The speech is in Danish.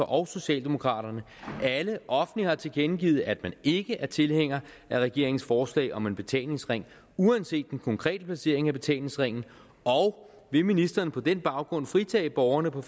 og socialdemokraterne alle offentligt har tilkendegivet at man ikke er tilhænger af regeringens forslag om en betalingsring uanset den konkrete placering af betalingsringen og vil ministeren på den baggrund fritage borgerne på